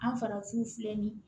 An farafinw filɛ nin ye